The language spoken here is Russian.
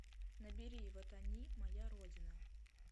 набери вот они моя родина